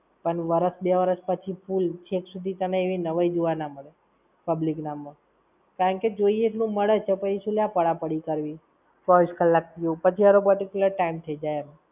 પણ વરસ બે વરસ પછી full. છેક સુધી તને એવી નવાઈ જોવા ના મળે, public ના માં. કારણ કે જોઈએ એટલું મળે છે પછી શું લેવા પડા પડી કરવી? ચોવીસ કલાક પીઓ. પછી ~ time થઇ જાય એમ.